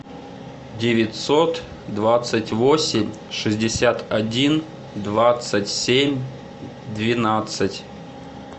девятьсот двадцать восемь шестьдесят один двадцать семь двенадцать